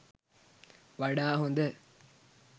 වඩා හොඳ.